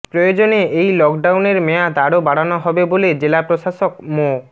প্রয়োজনে এই লকডাউনের মেয়াদ আরো বাড়ানো হবে বলে জেলা প্রশাসক মো